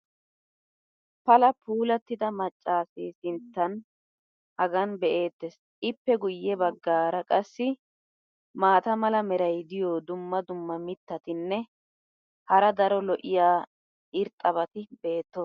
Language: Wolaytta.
pala puulattida macaassee sinttaa hagan be'eetees. ippe guye bagaara qassi maata mala meray diyo dumma dumma mitatinne hara daro lo'iya irxxabati beetoosona.